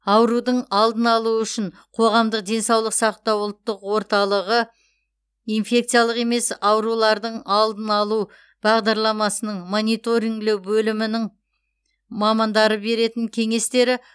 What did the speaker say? аурудың алдын алу үшін қоғамдық денсаулық сақтау ұлттық орталығы инфекциялық емес аурулардың алдын алу бағдарламасының мониторинглеу бөлімінің мамандарының беретін кеңестері